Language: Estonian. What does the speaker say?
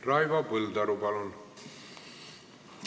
Raivo Põldaru, palun!